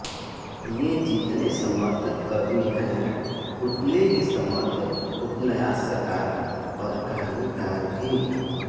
ये जितने समर्थ कवि हैं उतने ही समर्थ उपन्यासकार और कहानीकार भी